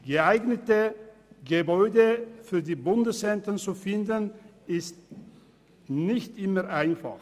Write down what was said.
Geeignete Gebäude für die Bundeszentren zu finden ist nicht immer einfach.